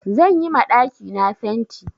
Zan yi ma ɗakina fenti.